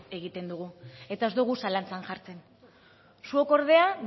egiten dugu eta ez dugu zalantzan jartzen zuok ordea